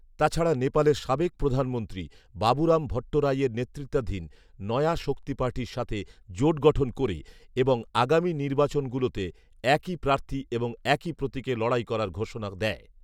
তাছাড়া নেপালের সাবেক প্রধানমন্ত্রী বাবুরাম ভট্টরাঈয়ের নেতৃত্বাধীন নয়া শক্তি পার্টির সাথে জোট গঠন করে এবং আগামী নির্বাচনগুলোতে একই প্রার্থী এবং একই প্রতীকে লড়াই করার ঘোষণা দেয়